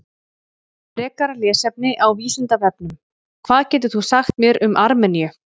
Frekara lesefni á Vísindavefnum: Hvað getur þú sagt mér um Armeníu?